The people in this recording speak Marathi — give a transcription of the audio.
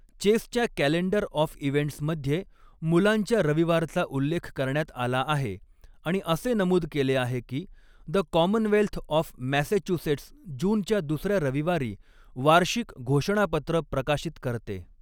चेसच्या कॅलेंडर ऑफ इव्हेंट्समध्ये मुलांच्या रविवारचा उल्लेख करण्यात आला आहे आणि असे नमूद केले आहे की द कॉमनवेल्थ ऑफ मॅसॅच्युसेट्स जूनच्या दुसऱ्या रविवारी वार्षिक घोषणापत्र प्रकाशित करते.